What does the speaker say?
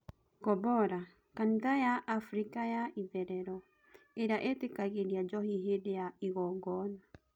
Gobola: Kanitha ya Afika ya itherero " iria itikagiris njohi hindĩ wa igongona"